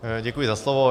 Děkuji za slovo.